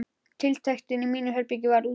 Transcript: Tiltektin í mínu herbergi varð útundan.